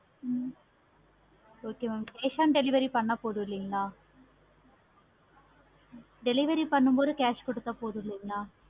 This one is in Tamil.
hmm okay mam cash on delivery பண்ண பொதுநம் இல்லைங்களா delivery பண்ண cash கொடுத்த போதும் இல்லைங்களா